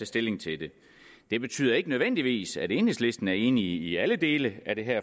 stilling til det det betyder ikke nødvendigvis at enhedslisten er enig i alle dele af det her